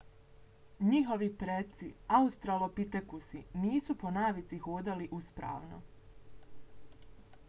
njihovi preci australopitekusi nisu po navici hodali uspravno